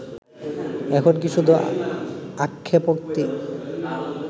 এখন কি শুধু আক্ষেপোক্তি